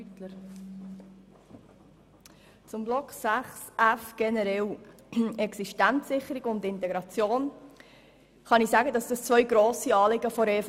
Generell zum Themenblock 6.f: Existenzsicherung und Integration sind grosse Anliegen der EVP.